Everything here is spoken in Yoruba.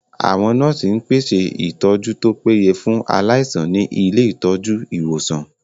Àwọn nọ́ọ̀sì ń pèsè ìtọ́jú tó péye fún aláìsàn ní ilé ìtọ́jú/ ìwòsàn